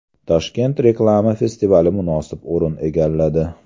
Toshkent reklama festivali munosib o‘rin egalladi.